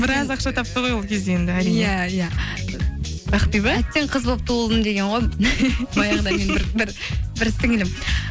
біраз ақша тапты ғой ол кезде енді әрине иә иә ақбибі әттең қыз болып туылдым деген ғой бір сіңлілім